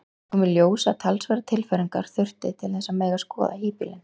Það kom í ljós að talsverðar tilfæringar þurfti til þess að mega skoða híbýlin.